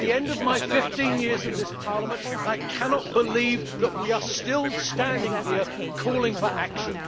After 15 years in this Parliament, I cannot believe that we are still standing here calling for action.